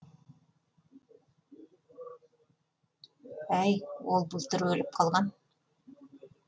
әй ол былтыр өліп қалған